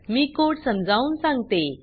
मी code समजवुन सांगते